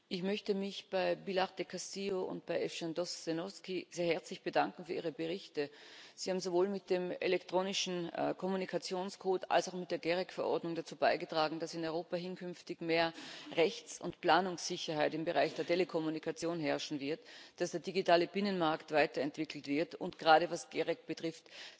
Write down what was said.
Ich möchte mich bei Pilar del Castillo und bei Evžen Tošenovský sehr herzlich für ihre Berichte bedanken. Sie haben sowohl mit dem elektronischen Kommunikationscode als auch mit der GEREK-Verordnung dazu beigetragen, dass in Europa hinkünftig mehr Rechts und Planungssicherheit im Bereich der Telekommunikation herrschen wird, dass der digitale Binnenmarkt weiterentwickelt wird, gerade was das GEREK betrifft.